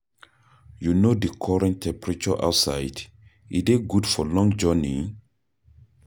You know di current temperature outside, e dey good for long journey?